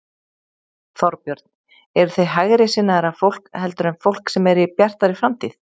Þorbjörn: Eruð þið hægri sinnaðra fólk heldur en fólk sem er í Bjartri framtíð?